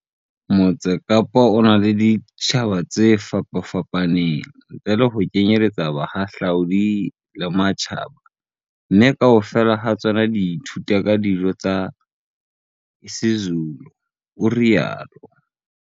Motse Kapa o na le ditjhaba tse fapafapaneng, ntle le ho kenyeletsa bahahlaudi ba matjhaba, mme kaofela ha tsona di tla ithuta ka dijo tsa isiZulu, o rialo.